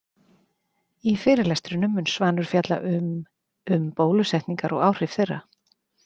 Í fyrirlestrinum mun Svanur fjalla um um bólusetningar og áhrif þeirra.